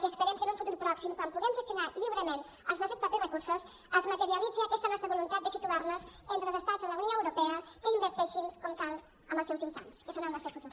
i esperem que en un futur pròxim quan puguem gestionar lliurement els nostres propis recursos es materialitzi aquesta nostra voluntat de situar nos entre els estats de la unió europea que inverteixin com cal en els seus infants que són el nostre futur